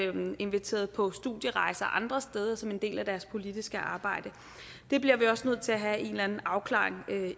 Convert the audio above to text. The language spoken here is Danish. inviteret på studierejser andre steder som en del af deres politiske arbejde det bliver vi også nødt til at have en eller anden afklaring